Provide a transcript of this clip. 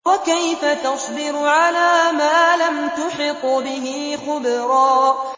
وَكَيْفَ تَصْبِرُ عَلَىٰ مَا لَمْ تُحِطْ بِهِ خُبْرًا